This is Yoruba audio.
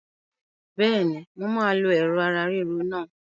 Bẹ́ẹ̀ni, mo máa lo Ẹ̀rọ̀ ara ríro náà.